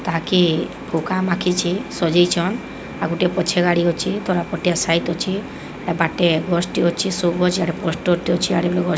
ତାକି ପୁକାମାକିଚେ ସଯେଇଛନ୍ ଆଉଗୁଟେ ପଛେ ଗାଡ଼ି ଅଛି ତରାପଟିଆ ସାଇଟ୍ ଅଛି ତାବାଟେ ବସ୍ ଟି ଅଛି ସୋ ଗଛ୍ ପୋଷ୍ଟର ଟେ ଅଛି ଆଡ଼େ --